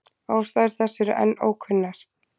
Ástæður þess eru enn ókunnar.